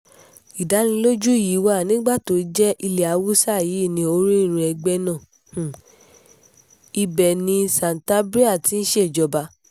ìdánilójú yìí wà nígbà tó jẹ́ ilẹ̀ haúsá yìí ní orírun ẹgbẹ́ náà ibẹ̀ ni santabria ti ń ṣèjọba